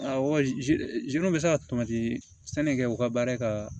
Awɔ bɛ se ka sani kɛ u ka baara ka